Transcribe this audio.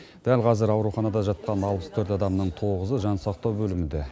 дәл қазір ауруханада жатқан алпыс төрт адамның тоғызы жансақтау бөлімінде